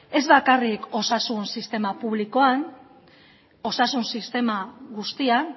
ez bakarrik osasun sistema publikoan osasun sistema guztian